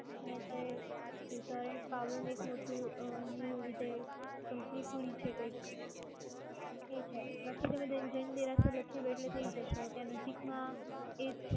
જ્યાં એક parlour નું એક મોટું new company ખૂલી છે કૈંક. એ છે અને બાકી તમે જૈન દેરાસર લખી દો એટલે થઈ જશે. ત્યાં નજીક માં એ જ છે.